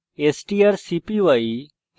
strcpy